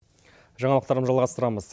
жаңалықтарым жалғастырамыз